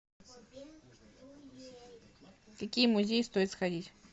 в какие музеи стоит сходить